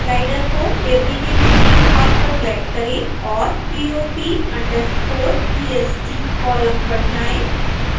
slider को table के निचले भाग पर ड्रैग करें और pop_est कॉलम पर जाएं